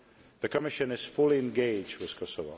The Commission is fully engaged with Kosovo.